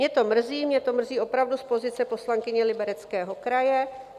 Mě to mrzí, mě to mrzí opravdu z pozice poslankyně Libereckého kraje.